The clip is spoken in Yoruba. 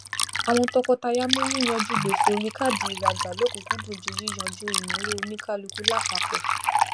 àwọn tọkọtaya mú yí yanjú gbèsè orí káàdì ìrajà lọkùkúndùn ju yiyanju ìnáwó onikaluku lápapọ